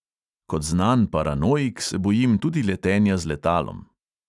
Kot znan paranoik se bojim tudi letenja z letalom.